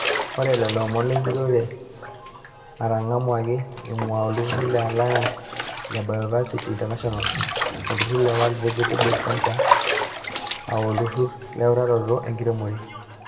Ore lelomon lenjurore netangamuaki eingua oltururi le Aliance of Bioversity International ,olturur le World vegetable Center aa (AVRDC) oolturur leutaroto enkiremore.